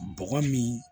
Bɔgɔ min